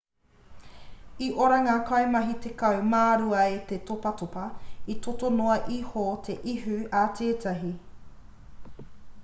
i ora ngā kaimahi tekau mā rua e te topatopa i toto noa iho te ihu a tētahi